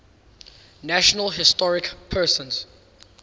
national historic persons